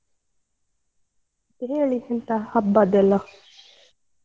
ಮತ್ತೆ ಹೇಳಿ ಎಂತ ಹಬ್ಬದೆಲ್ಲ?